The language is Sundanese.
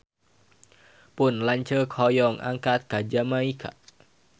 Pun lanceuk hoyong angkat ka Jamaika